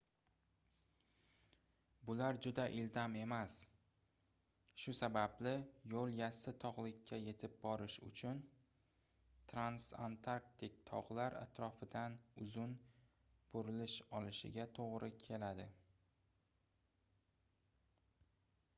bular juda ildam emas shu sababli yoʻl yassi togʻlikka yetib borish uchun transantarktik togʻlar atrofidan uzun burilish olishiga toʻgʻri keladi